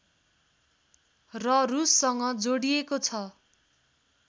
र रुससँग जोडिएको छ